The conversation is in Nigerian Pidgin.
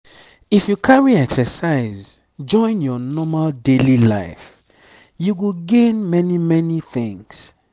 if you carry exercise join your normal daily life you go gain many many things.